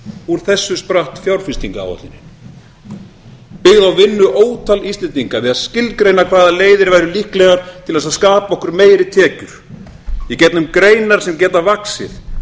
úr þessu spratt fjárfestingaráætlunin byggð á vinnu ótal íslendinga við að skilgreina hvaða leiðir væru líklegar til þess að skapa okkur meiri tekjur í gegnum greinar sem geta vaxið